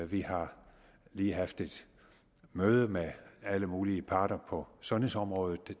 vi har lige haft et møde med alle mulige parter på sundhedsområdet